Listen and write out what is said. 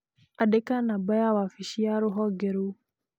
Andĩka namba ya wabici ya rũhonge rũu